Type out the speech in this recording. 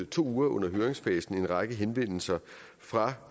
to uger i høringsfasen fået en række henvendelser fra